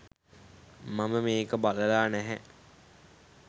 මම මේක බලලා නැහැ